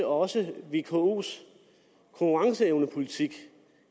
også vkos konkurrenceevnepolitik